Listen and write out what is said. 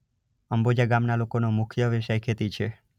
અંબોજા ગામના લોકોનો મુખ્ય વ્યવસાય ખેતી છે.